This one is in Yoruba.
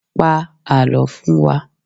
Pa àlọ́ fún wa!